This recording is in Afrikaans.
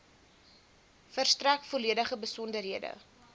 verstrek volledige besonderhede